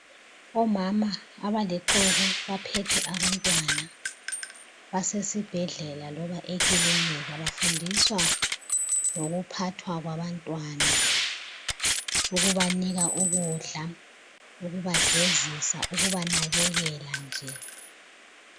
Omama abalixuku abaphethe abantwana basesibhedlela loba ekilinika bafundiswa ngokuphathwa kwabantwana ukubanika ukudla ukubagezisa ukubanakekela nje.